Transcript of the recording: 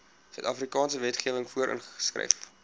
suidafrikaanse wetgewing voorgeskryf